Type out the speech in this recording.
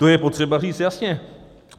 To je potřeba říct jasně.